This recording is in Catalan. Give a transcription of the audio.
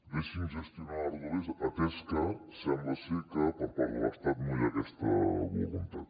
deixi’ns gestionar les rodalies atès que sembla ser que per part de l’estat no hi ha aquesta voluntat